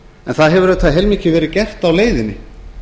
en það hefur auðvitað heilmikið verið gert á leiðinni